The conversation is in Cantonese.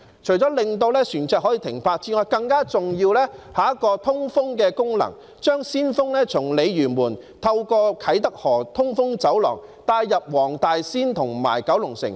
除了可以讓船隻停泊之外，更重要的是有通風的功能，將鮮風從鯉魚門透過啟德河通風走廊帶入黃大仙和九龍城。